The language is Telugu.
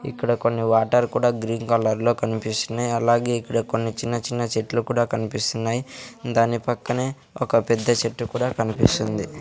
ఇక్కడ కొన్ని వాటర్ కూడా గ్రీన్ కలర్ లో కన్పిస్తున్నాయ్ అలాగే ఇక్కడ కొన్ని చిన్న చిన్న చెట్లు కూడా కనిపిస్తున్నాయ్ దాని పక్కనే ఒక పెద్ద చెట్టు కూడా కన్పిస్తుంది .